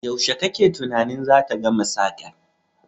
Yaushe kake tunanin zata gama sakar?